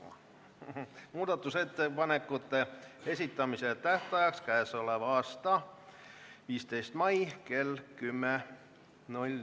Määran muudatusettepanekute esitamise tähtajaks k.a 15. mai kell 10.